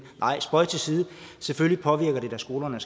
nej spøg til side selvfølgelig påvirker det da skolerne